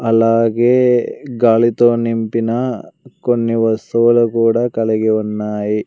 అలాగే గాలితో నింపిన కొన్ని వస్తువులు కూడా కలిగి ఉన్నాయి.